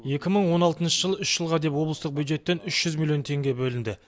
екі мың он алтыншы жылы үш жылға деп облыстық бюджеттен үш жүз миллион теңге бөлінді